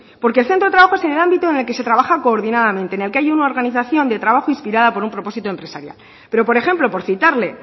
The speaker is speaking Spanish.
porque centro de trabajo es en el ámbito en el que se trabaja coordinadamente en el que hay una organización de trabajo inspirada por un propósito empresarial pero por ejemplo por citarle